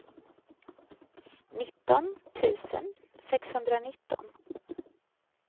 nitton tusen sexhundranitton